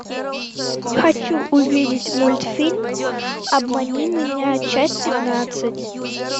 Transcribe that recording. хочу увидеть мультфильм обмани меня часть пятнадцать